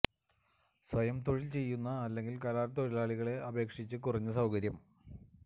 സ്വയം തൊഴിൽ ചെയ്യുന്ന അല്ലെങ്കിൽ കരാർ തൊഴിലാളികളെ അപേക്ഷിച്ച് കുറഞ്ഞ സൌകര്യം